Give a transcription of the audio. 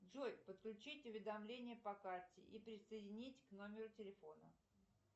джой подключить уведомления по карте и присоединить к номеру телефона